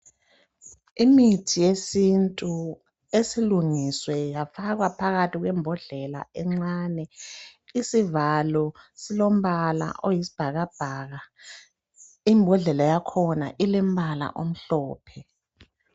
Imithi yesintu esilungiswe yafakwa phakathi kwembodlela encane isivalo silombala oyisibhakabhaka imbodlela yakhona ilembala omhlophe.